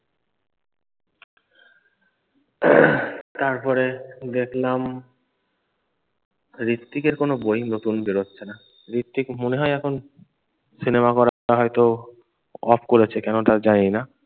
তারপরে দেখলাম হৃত্বিক এর কোনো বই নতুন বেরোচ্ছে না। হৃত্বিক মনে হয় এখন সিনেমা করাটা হয়তো off করেছে কেনো তা জানি না।